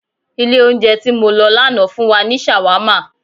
Ilẹ̀ oúnjẹ ti mọ lọ lánàá fun wa ni ṣàwámà